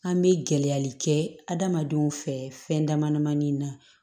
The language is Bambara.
An bɛ gɛlɛyali kɛ adamadenw fɛ fɛn dama damani na